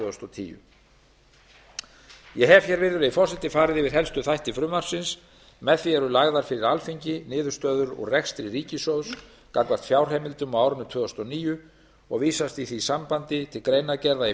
þúsund og tíu ég hef hér virðulegi forseti farið yfir helstu þætti frumvarpsins með því eru lagðar fyrir alþingi niðurstöður úr rekstri ríkissjóðs gagnvart fjárheimildum á árinu tvö þúsund og níu og vísast í því sambandi til greinargerða í